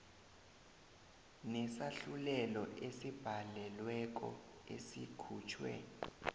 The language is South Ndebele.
nesahlulelo esibhalelweko esikhutjhwe